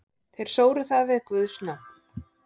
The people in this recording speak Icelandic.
Þeir sóru það við guðs nafn.